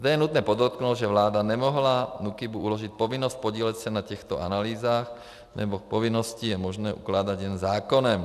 Zde je nutné podotknout, že vláda nemohla NÚKIBu uložit povinnost podílet se na těchto analýzách, neboť povinnosti je možné ukládat jen zákonem.